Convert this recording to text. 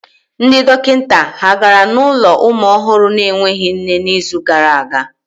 Ndị dọkịta ha gara n'ụlọ ụmụ ọhụrụ na-enweghị nne n'izu gara aga?